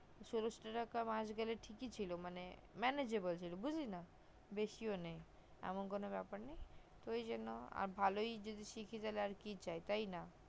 ষোলোশো টাকা মাস গেলে তো ঠিকই ছিল মানে manageable ছিল বুজলি না বেশিও নেই এমন কোনো ব্যাপার নেই তো ওই জন্য ভালোই যদি শিখি তাতে আর কি চাই